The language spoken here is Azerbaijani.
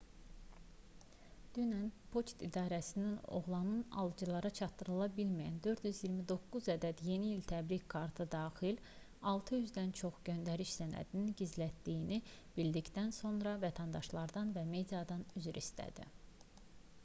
dünən poçt idarəsi oğlanın alıcılara çatdırıla bilməyən 429 ədəd yeni i̇l təbrik kartı daxil 600-dən çox göndəriş sənədini gizlətdiyini bildikdən sonra vətəndaşlardan və mediadan üzr istədi